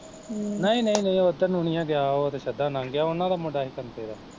ਹਮ ਨਹੀਂ ਨਹੀਂ ਉਹ ਏਧਰ ਨੂੰ ਨਾ ਗਿਆ, ਓਹ ਤੇ ਸਿੱਧਾ ਲੰਗ ਗਿਆ, ਉਹਨਾਂ ਦਾ ਮੁੰਡਾ ਸੀ ਕੰਤੇ ਦਾ